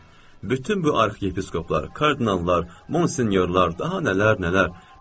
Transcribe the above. Bütün bu arxiepiskoplar, kardinallar, monsinyorlar, daha nələr, nələr.